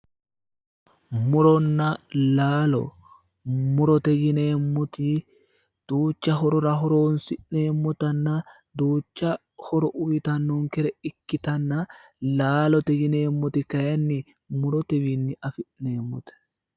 muronna laalo murote yineemmoti duucha horora horonsi'neemmotanna duucha horo uyiitannonkere ikkitanna laalote yineemmoti kayiinni murotewiinni afi'neemmote.